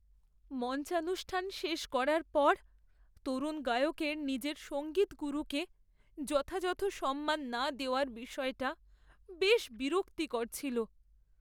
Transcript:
মঞ্চানুষ্ঠান শেষ করার পর তরুণ গায়কের নিজের সঙ্গীতগুরুকে যথাযথ সম্মান না দেওয়ার বিষয়টা বেশ বিরক্তিকর ছিল।